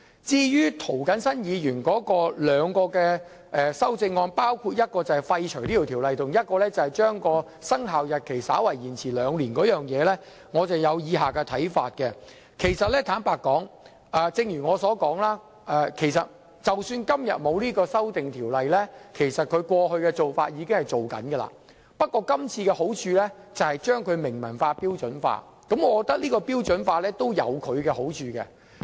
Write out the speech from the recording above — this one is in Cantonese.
至於涂謹申議員的兩項修正案，包括廢除這項《修訂規則》和將其生效日期延遲兩年，我有以下看法：坦白說，正如我所說，即使今天沒有《修訂規則》，其實過去的做法會繼續進行，不過這次修訂可以將做法明文化、標準化，而標準化有其好處。